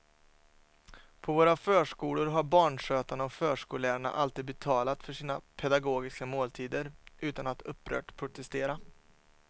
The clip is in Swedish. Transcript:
På våra förskolor har barnskötarna och förskollärarna alltid betalat för sina pedagogiska måltider utan att upprört protestera.